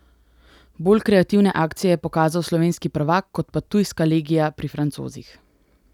Bolj kreativne akcije je pokazal slovenski prvak kot pa tujska legija pri Francozih.